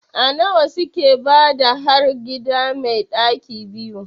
A nawa suke bada har gida mai ɗaki 2?